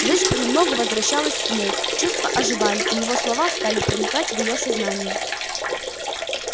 жизнь понемногу возвращалась к ней чувства оживали и его слова стали проникать в её сознание